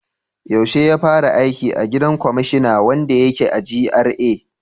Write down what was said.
Yaushe ya fara aiki a gidan kwamashina wanda yake GRA?